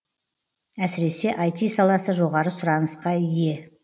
әсіресе іт саласы жоғары сұранысқа ие